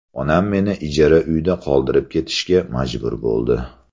Onam meni ijara uyda qoldirib ketishga majbur bo‘ldi.